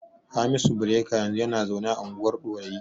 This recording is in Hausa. Hamisu Bireka yanzu yana zaune a unguwar Ɗorayi.